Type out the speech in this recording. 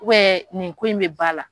nin ko in bɛ ba la.